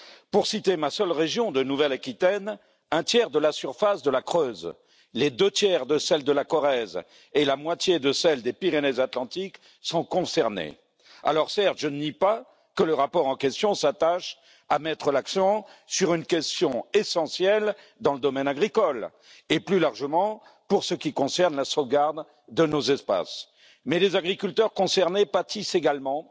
Pour citer ma seule région de Nouvelle Aquitaine, un tiers de la surface de la Creuse, les deux tiers de celle de la Corrèze et la moitié de celle des Pyrénées Atlantiques sont concernés. Certes, je ne nie pas que le rapport en question s'attache à mettre l'accent sur une question essentielle dans le domaine agricole, et plus largement pour ce qui concerne la sauvegarde de nos espaces, mais les agriculteurs concernés pâtissent également